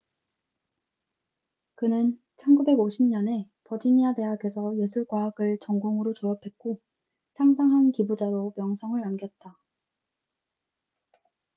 그는 1950년에 버지니아 대학에서 예술 과학을 전공으로 졸업했고 상당한 기부자로 명성을 남겼다